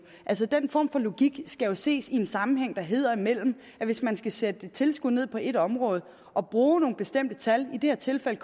altså den form for logik skal ses i den sammenhæng der hedder at hvis man skal sætte et tilskud ned på et område og bruger nogle bestemte tal i det her tilfælde